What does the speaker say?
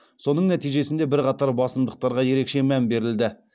соның нәтижесінде бірқатар басымдықтарға ерекше мән берілді